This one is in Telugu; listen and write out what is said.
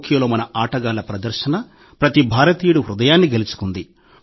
టోక్యోలో మన ఆటగాళ్ల ప్రదర్శన ప్రతి భారతీయుడి హృదయాన్ని గెలుచుకుంది